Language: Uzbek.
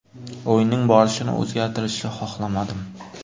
O‘yinning borishini o‘zgartirishni xohlamadim.